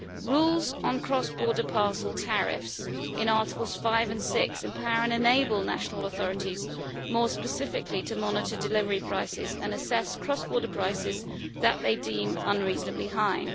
Rules on cross border parcel tariffs in Articles 5 and 6 empower and enable national authorities more specifically to monitor delivery prices and assess cross border prices that they deem unreasonably high.